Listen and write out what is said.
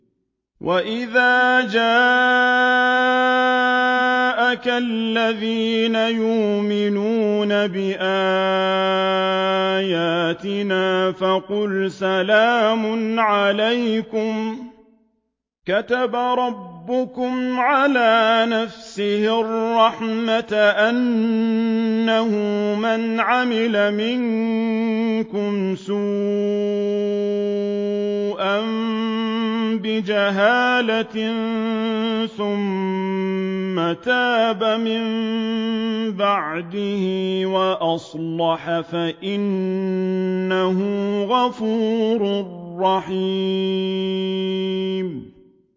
وَإِذَا جَاءَكَ الَّذِينَ يُؤْمِنُونَ بِآيَاتِنَا فَقُلْ سَلَامٌ عَلَيْكُمْ ۖ كَتَبَ رَبُّكُمْ عَلَىٰ نَفْسِهِ الرَّحْمَةَ ۖ أَنَّهُ مَنْ عَمِلَ مِنكُمْ سُوءًا بِجَهَالَةٍ ثُمَّ تَابَ مِن بَعْدِهِ وَأَصْلَحَ فَأَنَّهُ غَفُورٌ رَّحِيمٌ